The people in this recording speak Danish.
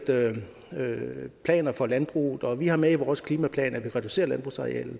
planer for landbruget og vi har med i vores klimaplan at man skal reducere landbrugsarealet